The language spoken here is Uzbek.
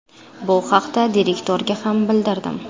Bu haqda direktorga ham bildirdim.